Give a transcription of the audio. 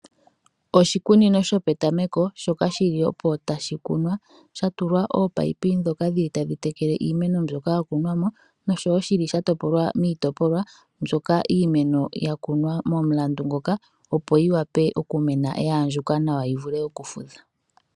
Oshikunino sho petameko shoka shili opo tashi kunwa sha tulwa ominino ndhoka dhili tadhi tekele iimeno mbyoka ya kunwamo noshowo shili sha topolwa miitopolwa mbyoka iimeno ya kunwa momulandu ngoka opo yi wape okumena yaandjuka nawa yi vule okufudha.